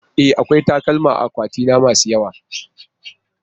E, akwai takalma a akwatina masu yawa.